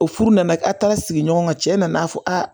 O furu nana a taara sigi ɲɔgɔn ka cɛ nana fɔ aa